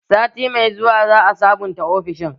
Sati mai zuwa za a sabunta ofishin